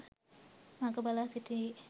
මග බලා සිටින්නේ